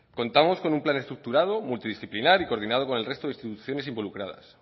contamos con un plan estructurado multidisciplinar y coordinado con el resto de instituciones involucradas